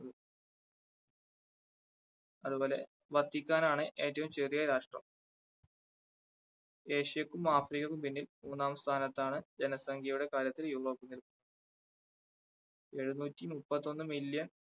അതുപോലെ വത്തിക്കാൻ ആണ് ഏറ്റവും ചെറിയ രാഷ്ട്രം ഏഷ്യക്കും, ആഫ്രിക്കയ്ക്കും പിന്നിൽ മൂന്നാം സ്ഥാനത്താണ് ജനസംഖ്യയുടെ കാര്യത്തിൽ യൂറോപ്പ് എഴുന്നൂറ്റി മുപ്പത്തി ഒന്ന് million